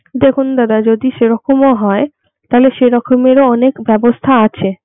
দেখুন দাদা যদি সেইরকমও হয় তাহলে সেরকমেরও অনেক ব্যবস্থা আছে.